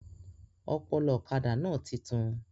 Ọpọlọ ọ̀kadà náà títún